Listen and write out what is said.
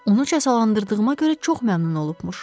Onu cəsalandırdığıma görə çox məmnun olubmuş.